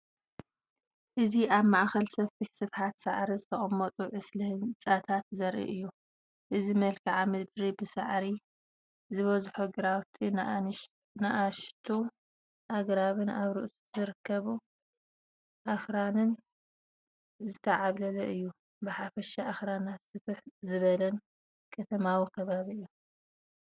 እዚ ኣብ ማእከል ሰፊሕ ስፍሓት ሳዕሪ ዝተቐመጡ ዕስለ ህንጻታት ዘርኢ እዩ። እቲ መልክዓ ምድሪ ብሳዕሪ ዝበዝሖ ግራውቲ፡ ንኣሽቱ ኣግራብን ኣብ ርሑቕ ዝርከቡ ኣኽራንን ዝተዓብለለ እዩ። ብሓፈሻ ኣኽራናትን ስፍሕ ዝበለን ከተማዊ ከባቢ እዩ።